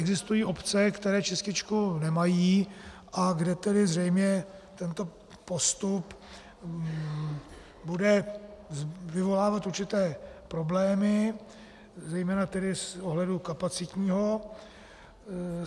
Existují obce, které čističku nemají a kde tedy zřejmě tento postup bude vyvolávat určité problémy, zejména tedy z pohledu kapacitního.